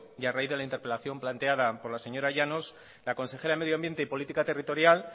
y a raíz de la interpelación planteado por la señora llanos la consejera de medioambiente y política territorial